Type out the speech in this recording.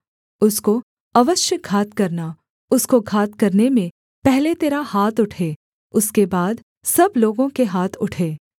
उसको अवश्य घात करना उसको घात करने में पहले तेरा हाथ उठे उसके बाद सब लोगों के हाथ उठें